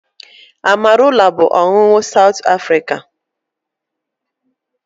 Amarula bụ ọṅụṅụ South Africa